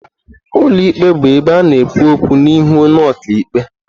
Ụlọ ikpe bụ ebe a na-ekwu okwu n'ihu onye ọka ikpe.